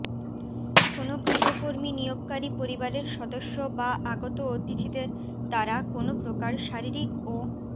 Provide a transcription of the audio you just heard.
কোন গৃহকর্মী নিয়োগকারী পরিবারের সদস্য বা আগত অতিথিদের দ্বারা কোন প্রকার শারীরিক ও